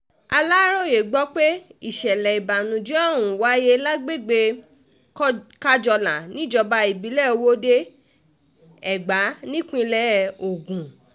aláròye gbọ́ pé ìṣẹ̀lẹ̀ ìbànújẹ́ ọ̀hún wáyé lágbègbè kájọlà níjọba ìbílẹ̀ ọwọ́de-ègbà nípínlẹ̀ ogun